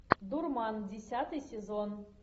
дурман десятый сезон